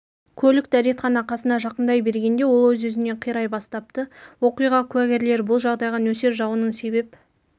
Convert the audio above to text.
көлік дәретхана қасына жақындай бергенде ол өз-өзінен қирай бастапты оқиға куәгерлері бұл жағдайға нөсер жауынның себеп